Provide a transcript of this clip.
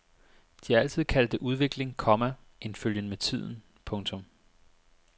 De har altid kaldt det udvikling, komma en følgen med tiden. punktum